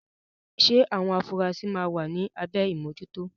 Ṣé àwọn afurasí máa wà ní abẹ́ ìmójútó?